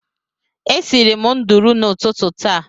E siri m nudulu n'ututu taa